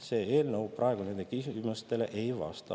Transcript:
See eelnõu nendele küsimustele ei vasta.